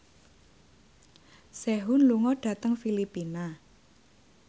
Sehun lunga dhateng Filipina